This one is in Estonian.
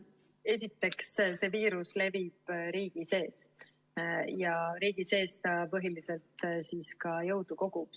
Esiteks, see viirus levib riigi sees ja riigi sees ta põhiliselt ka jõudu kogub.